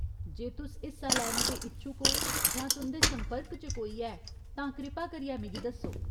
जे तुस हिस्सा लैने दे इच्छुक ओ जां तुं'दे संपर्क च कोई ऐ, तां कृपा करियै मिगी दस्सो।